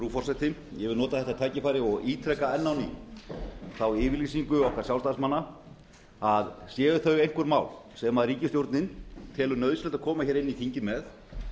frú forseti ég vil nota þetta tækifæri og ítreka enn á ný þá yfirlýsingu okkar sjálfstæðismanna að séu þau einhver mál sem ríkisstjórnin telur nauðsynlegt að koma með inn í þingið